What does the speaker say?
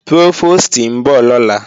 Prófòstì ń bọ̀ lọ́la